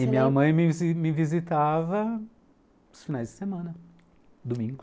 E minha mãe me me visitava nos finais de semana, domingos.